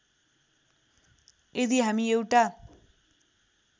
यदि हामी एउटा